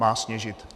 Má sněžit.